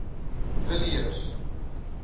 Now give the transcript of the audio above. villiers